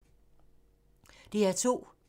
DR2